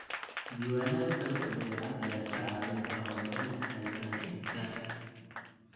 Diiwaanada dalabka badeecada ayaa kaa caawin kara horumarinta xeeladaha iibka.